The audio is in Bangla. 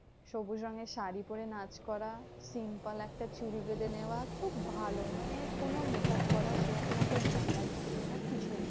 সবুজ রঙের শাড়ী পরে নাচ করা। simple একটা চুরি বেঁধে নেওয়া। খুব ভালো মানে কোনো makeup করার সেরকম অত ঝামেলা থাকতো না কিছুই না।